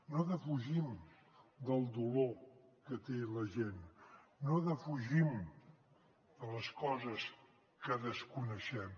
no defugim del dolor que té la gent no defugim de les coses que desconeixem